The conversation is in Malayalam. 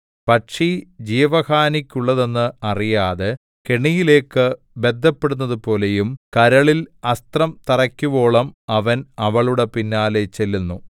പക്ഷി ജീവഹാനിക്കുള്ളതെന്ന് അറിയാതെ കെണിയിലേക്ക് ബദ്ധപ്പെടുന്നതുപോലെയും കരളിൽ അസ്ത്രം തറയ്ക്കുവോളം അവൻ അവളുടെ പിന്നാലെ ചെല്ലുന്നു